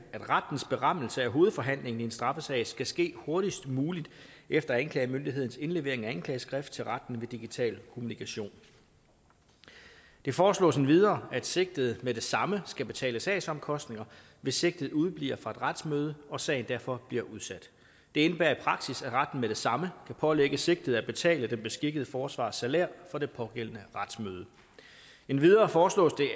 rettens berammelse af hovedforhandlingen i en straffesag skal ske hurtigst muligt efter anklagemyndighedens indlevering af anklageskrift til retten ved digital kommunikation det foreslås endvidere at sigtede med det samme skal betale sagsomkostninger hvis sigtede udebliver fra et retsmøde og sagen derfor bliver udsat det indebærer i praksis at retten med det samme kan pålægge sigtede at betale den beskikkede forsvarers salær for det pågældende retsmøde endvidere foreslås det